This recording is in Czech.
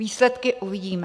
Výsledky uvidíme.